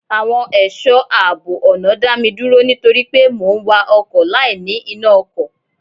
Àwọn ẹ̀ṣọ́ àbọ̀ ọ̀nà dá mi dúró nítorí pé mò ń wa ọkọ̀ láì ní iná ọkọ̀.